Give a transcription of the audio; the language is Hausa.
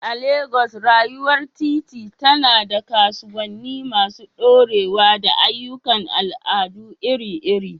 A Legas, rayuwar titi tana da kasuwanni masu ɗorewa da ayyukan al'adu iri-iri.